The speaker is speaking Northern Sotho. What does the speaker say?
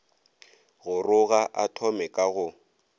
goroga a thome ka go